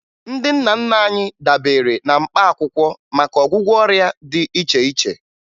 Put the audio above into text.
Ndị nna nna anyị dabere na mkpaakwụkwọ maka ọgwụgwọ ọrịa dị iche iche